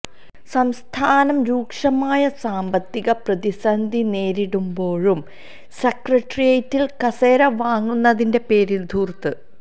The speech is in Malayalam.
സംസ്ഥാനം രൂക്ഷമായ സാമ്പത്തിക പ്രതിന്ധി നേരിടുമ്പോഴും സെക്രട്ടേറിയേറ്റിൽ കസേര വാങ്ങുന്നതിന്റെ പേരിൽ ധൂർത്ത്